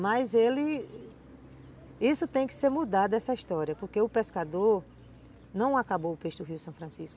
Mas ele... Isso tem que ser mudado essa história, porque o pescador não acabou o peixe do rio São Francisco.